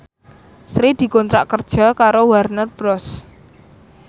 Sri dikontrak kerja karo Warner Bros